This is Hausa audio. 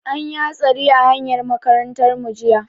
An yi hatsari a hanyar makarantar mu jiya.